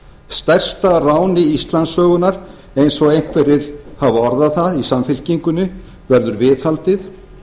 stærsta ráni íslandssögunnar eins og einhverjir hafa orðað það í samfylkingunni verður viðhaldið